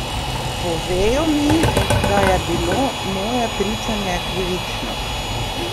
Povejo mi, da je bilo moje pričanje krivično.